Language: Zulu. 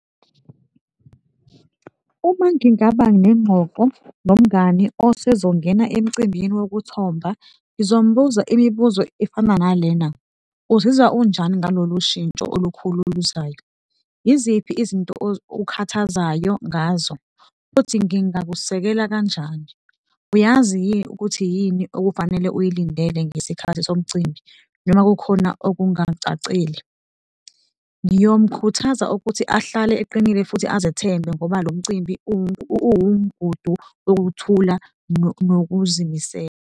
Uma ngingaba nengxoxo nomngani osezongena emcimbini wokuthomba ngizombuza imibuzo efana nalena, uzizwa unjani ngalolushintsho olukhulu oluzayo? Yiziphi izinto okhathazayo ngazo futhi ngingakusekela kanjani? Uyazi yini ukuthi yini okufanele uyilindele ngesikhathi somcimbi noma kukhona okungacacile? Ngiyomkhuthaza ukuthi ahlale eqinile futhi azethembe ngoba lomcimbi uwumgudu wokuthula nokuzimisela.